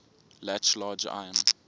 latch large iron